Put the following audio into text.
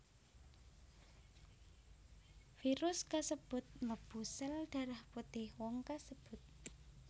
Virus kasebut mlebu sel darah putih wong kasebut